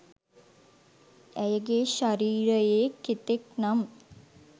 ඇයගේ ශරීරයේ කෙතෙක් නම්